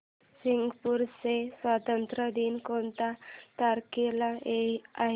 Singapore चा स्वातंत्र्य दिन कोणत्या तारखेला आहे